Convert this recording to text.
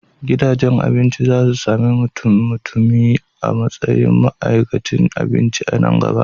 Gidajen abinci za su sami mutummutumi a matsayin ma'aikatan abinci a nan gaba.